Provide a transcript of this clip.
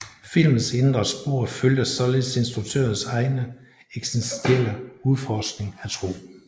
Filmens indre spor følger således instruktørens egen eksistentielle udforskning af tro